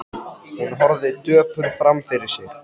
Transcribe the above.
Hún horfði döpur fram fyrir sig.